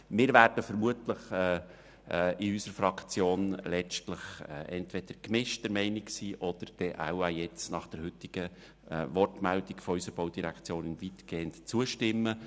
Wir werden seitens unserer Fraktion vermutlich entweder unterschiedlicher Meinung sein oder nach der Wortmeldung unserer Regierungsrätin weitgehend zustimmen.